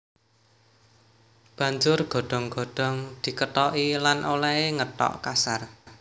Banjur godhong godhong dikethoki lan olèhé ngethok kasar